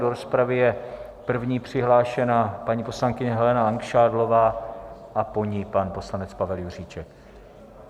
Do rozpravy je první přihlášena paní poslankyně Helena Langšádlová a po ní pan poslanec Pavel Juříček.